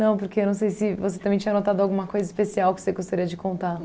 porque eu não sei se você também tinha anotado alguma coisa especial que você gostaria de contar.